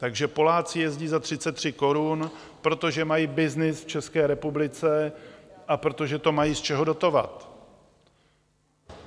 Takže Poláci jezdí za 33 korun, protože mají byznys v České republice a protože to mají z čeho dotovat.